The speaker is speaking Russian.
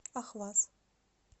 ахваз